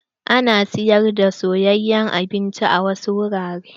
Ana siyar da soyayen abinci a wasu wuraren.